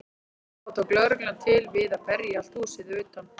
Þá tók lögreglan til við að berja allt húsið að utan.